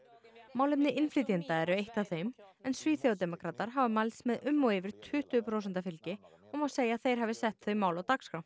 málefni innflytjenda eru eitt af þeim en hafa mælst með um og yfir tuttugu prósenta fylgi og má segja að þeir hafi sett þau mál á dagskrá